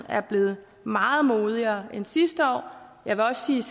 er blevet meget modigere end sidste år jeg vil også sige